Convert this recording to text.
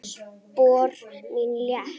Spor mín létt.